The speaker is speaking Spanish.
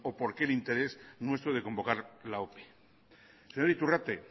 por qué el interés nuestro de convocar la ope señor iturrate